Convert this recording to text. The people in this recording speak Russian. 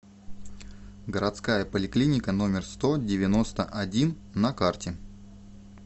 городская поликлиника номер сто девяносто один на карте